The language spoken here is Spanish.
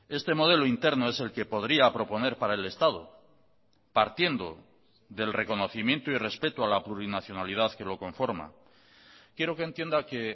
este modelo interno es el que podría proponer para el estado partiendo del reconocimiento y respeto a la plurinacionalidad que lo conforma quiero que entienda que